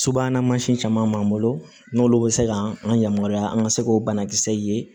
Subahana mansin caman b'an bolo n'olu bɛ se ka an yamaruya an ka se k'o banakisɛ ye